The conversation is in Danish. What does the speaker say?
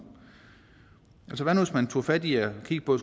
altså hvad nu hvis man tog fat i at kigge på